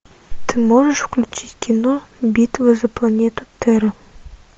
ты можешь включить кино битва за планету терра